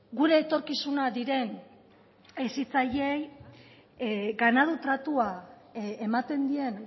gure etorkizuna diren hezitzaileei ganadu tratua ematen dien